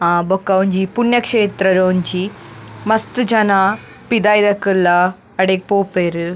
ಅಹ್ ಬೊಕ್ಕ ಒಂಜಿ ಪುಣ್ಯಕ್ಷೇತ್ರಡೊಂಜಿ ಮಸ್ತ್ ಜನ ಪಿದಾಯ್ದಕುಲ್ಲ ಅಡೆಗ್ ಪೋಪೆರ್ .